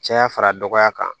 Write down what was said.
Caya fara dɔgɔya kan